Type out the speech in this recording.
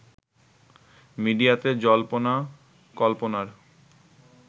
মিডিয়াতে জল্পনা কল্পনার